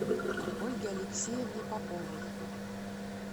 ольге алексеевне поповой